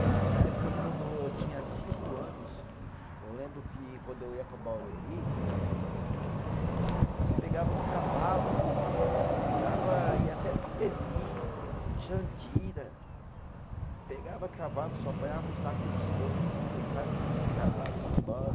Na na época, quando eu tinha cinco anos, eu lembro que quando eu ia para Barueri, nós pegava os cavalo, andava, ia até Tapevi, Jandira, pegava cavalo, só apanhava um saco de estopa e sentava em cima do cavalo e ia embora.